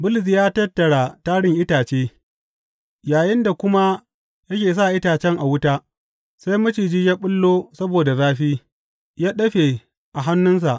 Bulus ya tattara tarin itace, yayinda kuma yake sa itacen a wuta, sai maciji ya ɓullo saboda zafi, ya dāfe a hannunsa.